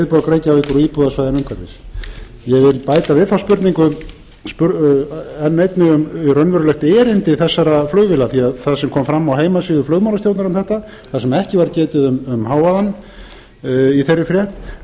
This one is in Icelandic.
reykjavíkur og íbúasvæðunum umhverfis ég vil bæta við þá spurningu enn einni um raunverulegt erindi þessara flugvéla því það sem kom fram á heimasíðu flugmálastjórnar um þetta þar sem ekki var getið um hávaðann í þeirri frétt